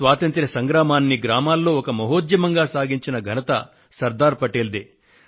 స్వాతంత్య్ర సంగ్రామాన్ని గ్రామాల్లో ఒక మహోద్యమంగా సాగించిన ఘనత శ్రీ సర్దార్ పటేల్ దే